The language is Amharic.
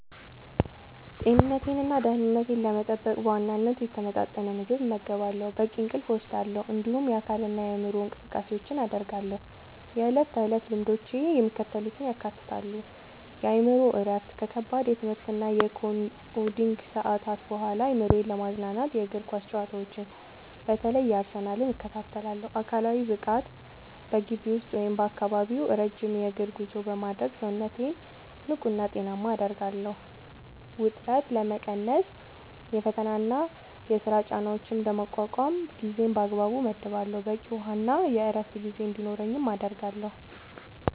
ጤንነቴንና ደህንነቴን ለመጠበቅ በዋናነት የተመጣጠነ ምግብ እመገባለሁ፣ በቂ እንቅልፍ እወስዳለሁ፣ እንዲሁም የአካልና የአእምሮ እንቅስቃሴዎችን አደርጋለሁ። የዕለት ተዕለት ልምዶቼ የሚከተሉትን ያካትታሉ፦ የአእምሮ እረፍት፦ ከከባድ የትምህርትና የኮዲንግ ሰዓታት በኋላ አእምሮዬን ለማዝናናት የእግር ኳስ ጨዋታዎችን (በተለይ የአርሰናልን) እከታተላለሁ። አካላዊ ብቃት፦ በግቢ ውስጥ ወይም በአካባቢው ረጅም የእግር ጉዞ በማድረግ ሰውነቴን ንቁና ጤናማ አደርጋለሁ። ውጥረት መቀነስ፦ የፈተናና የሥራ ጫናዎችን ለመቋቋም ጊዜን በአግባቡ እመድባለሁ፣ በቂ የውሃና የዕረፍት ጊዜ እንዲኖረኝም አደርጋለሁ።